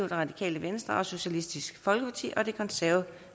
radikale venstre socialistisk folkeparti og det konservative